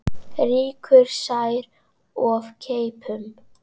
Rýkur sær of keipum.